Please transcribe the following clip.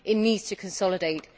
It needs to consolidate.